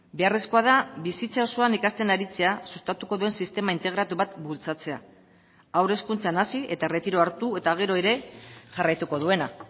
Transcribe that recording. beharrezkoa da bizitza osoan ikasten aritzea sustatuko duen sistema integratu bat bultzatzea haur hezkuntzan hasi eta erretiroa hartu eta gero ere jarraituko duena